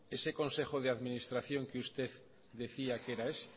ese consejo de administración que usted decía que era ese